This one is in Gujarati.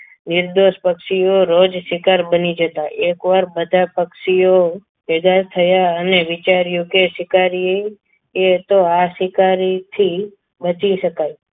નિર્દોષ પક્ષીઓ રોજ શિકાર બની જતા એકવાર બધા પક્ષીઓ ભેગા થયું અને વિચાર્યું કે શિકારીએ એ તો આ શિકારીથી બચી શકાય.